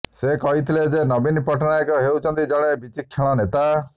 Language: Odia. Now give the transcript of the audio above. ସେ କହିଥିଲେ ଯେ ନବୀନ ପଟ୍ଟନାୟକ ହେଉଛନ୍ତି ଜଣେ ବିଚକ୍ଷଣ ନେତା